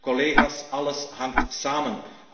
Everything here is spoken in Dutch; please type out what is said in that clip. Collega's, alles hangt samen!